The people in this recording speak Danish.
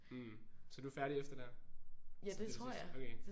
Så du er færdig efter det her? Som det sidste